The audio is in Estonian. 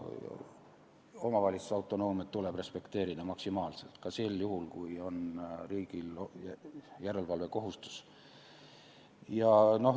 Omavalitsuse autonoomiat tuleb maksimaalselt respekteerida, ka sel juhul, kui riigil on järelevalvekohustus.